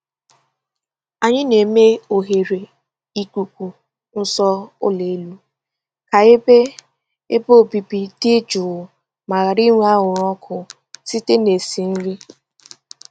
Anyị na-eme oghere ikuku nso ụlọ elu ka ebe ebe obibi dị jụụ ma ghara inwe anwụrụ ọkụ site na esi nri.